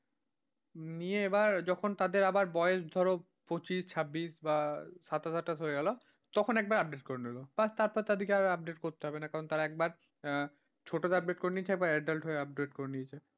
নিয়ে এবার যখন তাদের আবার বয়স ধরো পঁচিশ ছাব্বিশ বা সাতাশ আঠাশ হয়ে গেল, তখন একবার update করে নিল ব্যাস তারপর তাদেরকে আর update করতে হবে না কারণ তারা একবার ছোটতে update করে নিয়েছে একবার adult হয়ে update করে নিয়েছে।